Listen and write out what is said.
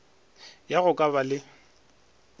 ya go ka ba le